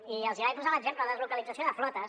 i els vaig posar l’exemple deslocalització de flotes